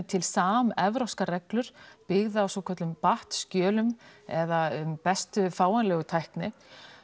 til samevrópskar reglur byggðar á svokölluðum BAT skjölum eða bestu fáanlegu tækni